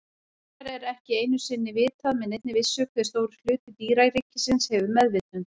Raunar er ekki einu sinni vitað með neinni vissu hve stór hluti dýraríkisins hefur meðvitund.